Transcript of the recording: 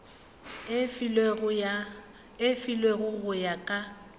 e filwego go ya ka